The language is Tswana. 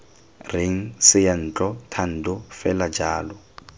reng seyantlo thando fela jalo